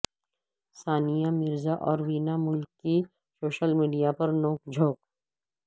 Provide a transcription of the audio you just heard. ثانیہ مرزا اور وینا ملک کی social media پر نوک جھونک